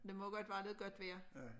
Der må godt være noget godt vejr